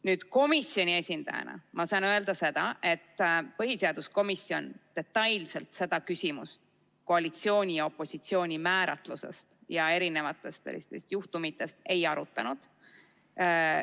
Nüüd, komisjoni esindajana ma saan öelda seda, et põhiseaduskomisjon detailselt seda küsimust koalitsiooni ja opositsiooni määratlusest ja erinevatest juhtumitest lähtudes ei arutanud.